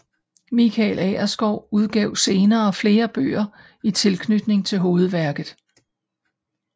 Michael Agerskov udgav senere flere bøger i tilknytning til hovedværket